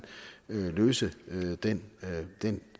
løse den den